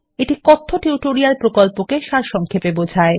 এটি কথ্য টিউটোরিয়াল প্রকল্পকে সারসংক্ষেপে বোঝায়